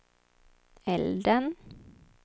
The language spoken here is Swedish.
elden